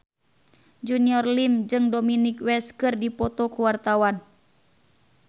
Junior Liem jeung Dominic West keur dipoto ku wartawan